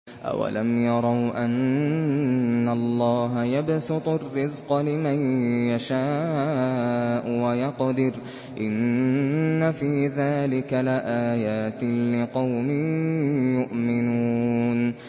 أَوَلَمْ يَرَوْا أَنَّ اللَّهَ يَبْسُطُ الرِّزْقَ لِمَن يَشَاءُ وَيَقْدِرُ ۚ إِنَّ فِي ذَٰلِكَ لَآيَاتٍ لِّقَوْمٍ يُؤْمِنُونَ